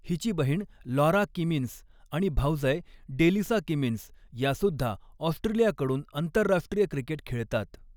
हिची बहीण Laura Kimmins आणि भावजय डेलिसा किमिन्स या सुद्धा ऑस्ट्रेलिया कडून आंतरराष्ट्रीय क्रिकेट खेळतात.